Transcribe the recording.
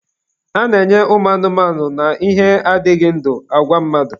A na-enye anụmanụ na ihe adịghị ndụ, agwa mmadụ.